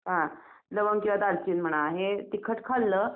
हं लवंग किंवा दालचिनी म्हणा हे तिखट खाल्लं